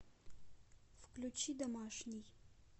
включи домашний